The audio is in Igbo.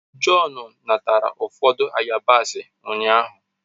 John natara ụfọdụ yabasị ụnyaahụ